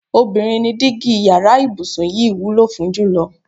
Obìnrin ni dígí yara ìbùsùn yìí wúlò fún jùlo̩.